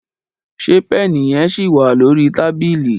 ṣe Pẹ́ẹ̀nì yen sí wá lórí tábìlì?